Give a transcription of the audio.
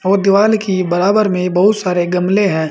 और दीवाल की बराबर में बहुत सारे गमले हैं।